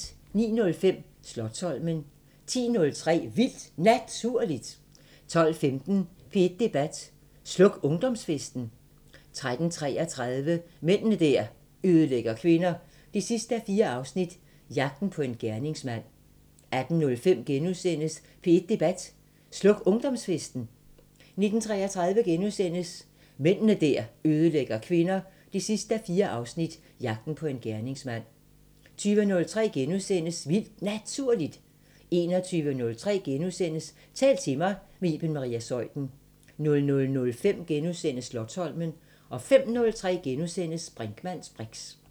09:05: Slotsholmen 10:03: Vildt Naturligt 12:15: P1 Debat: Sluk ungdomsfesten? 13:33: Mænd der ødelægger kvinder 4:4 – Jagten på en gerningsmand 18:05: P1 Debat: Sluk ungdomsfesten? * 19:33: Mænd der ødelægger kvinder 4:4 – Jagten på en gerningsmand * 20:03: Vildt Naturligt * 21:03: Tal til mig – med Iben Maria Zeuthen * 00:05: Slotsholmen * 05:03: Brinkmanns briks *